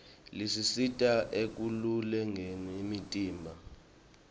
lisisita ekulolongeni umtimba